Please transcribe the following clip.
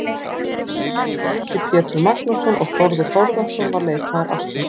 Efnilegastur var Helgi Pétur Magnússon og Þórður Þórðarson var leikmaður ársins.